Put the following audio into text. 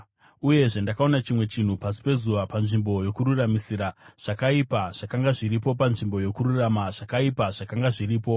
Uyezve ndakaona chimwe chinhu pasi pezuva: Panzvimbo yokururamisira, zvakaipa zvakanga zviripo, panzvimbo yokururama, zvakaipa zvakanga zviripo.